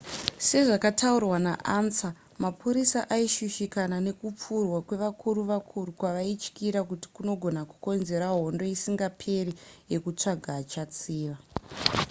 sezvakataurwa naansa mapurisa aishushikana nekupfurwa kwevakuru vakuru kwavaityira kuti kunogona kukonzera hondo isingaperi yekutsvaga achatsiva